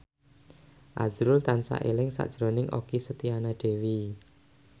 azrul tansah eling sakjroning Okky Setiana Dewi